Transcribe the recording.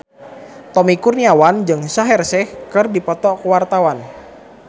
Tommy Kurniawan jeung Shaheer Sheikh keur dipoto ku wartawan